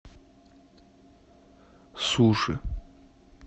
суши